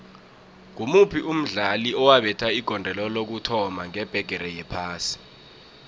ngimuphi umdlali owabetha igondelo lokuthoma ngebhigiri yephasi